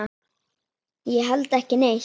Ég held ekki neitt.